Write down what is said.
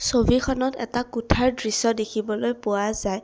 ছবিখনত এটা কোঠাৰ দৃশ্য দেখিবলৈ পোৱা যায়।